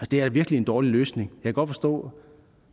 det er virkelig en dårlig løsning og kan godt forstå